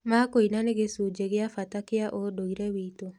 ma kũina nĩ gĩcunjĩ gĩa bata kĩa ũndũire witũ.